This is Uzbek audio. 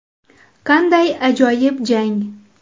Qanday ajoyib jang?!